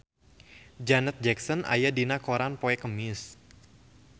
Janet Jackson aya dina koran poe Kemis